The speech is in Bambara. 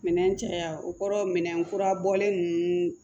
Minɛn caya o kɔrɔ minɛn kura bɔlen ninnu